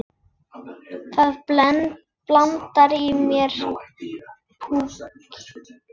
Það blundar í mér púki.